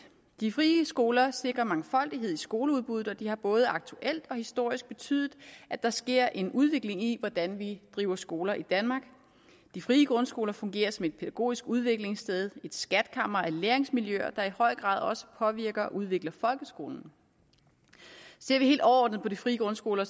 de frie skoler sikrer mangfoldighed i skoleudbuddet og de har både aktuelt og historisk betydet at der sker en udvikling i hvordan vi driver skoler i danmark de frie grundskoler fungerer som et pædagogisk udviklingssted et skatkammer af læringsmiljøer der i høj grad også påvirker og udvikler folkeskolen ser vi helt overordnet på de frie grundskoler